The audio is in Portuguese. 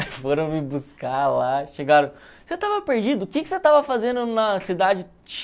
foram me buscar lá, chegaram, você tava perdido, que que você tava fazendo na cidade